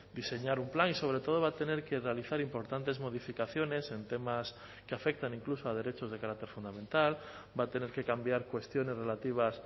diseñar un plan y sobre todo va a tener que realizar importantes modificaciones en temas que afectan incluso a derechos de carácter fundamental va a tener que cambiar cuestiones relativas